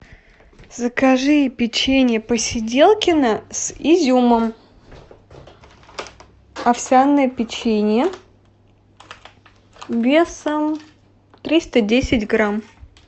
закажи печенье посиделкино с изюмом овсяное печенье весом триста десять грамм